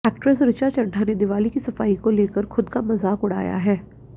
actress Richa Chadha ने दिवाली की सफाई को लेकर खुद का मजाक उड़ाया है